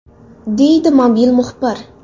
!”, deydi mobil muxbir.